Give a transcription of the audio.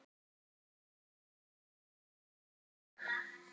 Að hún er úr leik.